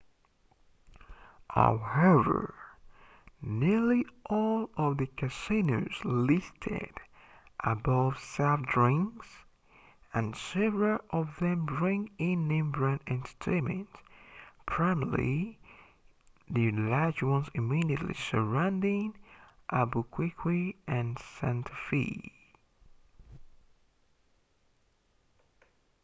however nearly all of the casinos listed above serve drinks and several of them bring in name-brand entertainment primarily the large ones immediately surrounding albuquerque and santa fe